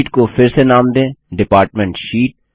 sheet को फिर से नाम दें डिपार्टमेंट शीट